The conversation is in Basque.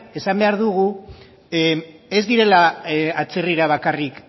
esan behar dugu ez direla atzerrira bakarrik